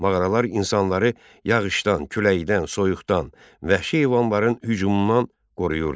Mağaralar insanları yağışdan, küləkdən, soyuqdan, vəhşi heyvanların hücumundan qoruyurdu.